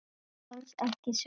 Alls ekki sjóða.